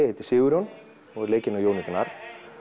heitir Sigurjón og er leikinn af Jóni Gnarr